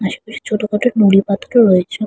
আশেপাশে ছোটখাটো নুড়ি পাথর ও রয়েছে ।